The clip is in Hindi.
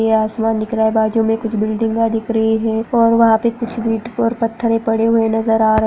यह आसमान दिख रहा है बाजू में कुछ बिल्डिंगा दिख रही है और वहापे कुछ ईंट और पत्थरे पड़े हुए नजर आ रहे --